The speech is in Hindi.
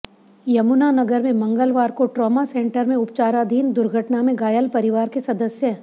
यमुनानगर में मंगलवार को ट्रामा सेंटर में उपचाराधीन दुर्घटना में घायल परिवार के सदस्य